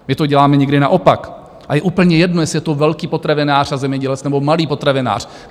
My to děláme někdy naopak a je úplně jedno, jestli je to velký potravinář a zemědělec, nebo malý potravinář.